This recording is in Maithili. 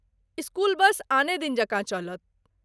स्कूल बस आने दिन जकाँ चलत।